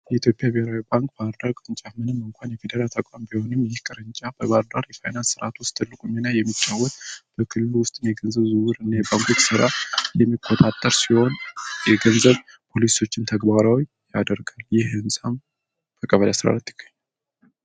የኢትዮጵያ ብሔራዊ ባንክ ባህላዊ እንኳን የፌዴራል ተቋም ቢሆንም ቅርንፍ በባህርዳር የፋይናንስ ትርጓሜ ላይ የሚጫወቱ በክልሉ ውስጥ የገንዘብ ዝውውር የሚቆጣጠር ሲሆን፤ የገንዘብ ፖሊሲዎች ተግባራዊ ያደርግ ይህ ህንጻም በ ቀበሌ 14 ይገኛል።